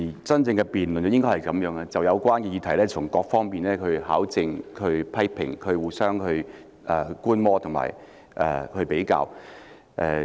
真正的辯論應該如此，就有關議題從各方面考證、批評，互相觀摩和比較。